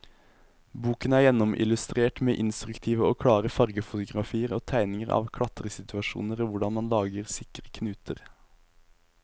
Boken er gjennomillustrert med instruktive og klare fargefotografier og tegninger av klatresituasjoner og hvordan man lager sikre knuter.